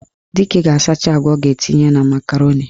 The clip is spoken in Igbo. Dike ga-asacha agwa ọ ga-etinye na makaroni.